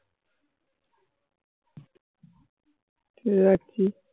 ঠিক আছে।